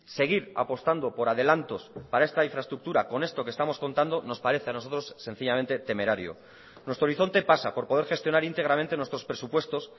seguir apostando por adelantos para esta infraestructura con esto que estamos contando nos parece a nosotros sencillamente temerario nuestro horizonte pasa por poder gestionar íntegramente nuestros presupuestos